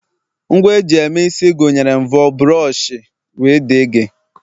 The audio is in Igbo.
Ngwa eji eme isi gụnyere mfor, buroshi, wdg